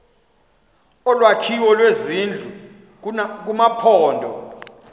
olwakhiwo lwezindlu kumaphondo